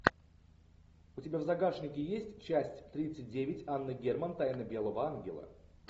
у тебя в загашнике есть часть тридцать девять анна герман тайна белого ангела